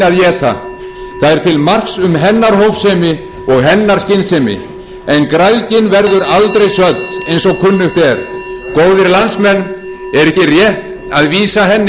er til marks um hennar hófsemi og hennar skynsemi en græðgin verður aldrei södd eins og kunnugt er góðir landsmenn er ekki rétt að vísa henni